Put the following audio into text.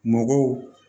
Mɔgɔw